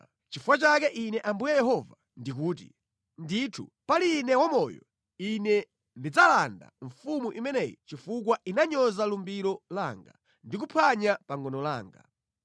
“ ‘Nʼchifukwa chake Ine Ambuye Yehova ndikuti: Ndithu pali Ine wamoyo, Ine ndidzalanga mfumu imeneyi chifukwa inanyoza lumbiro langa, ndi kuphwanya pangano langa.